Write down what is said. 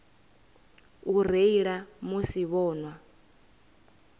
u reila musi vho nwa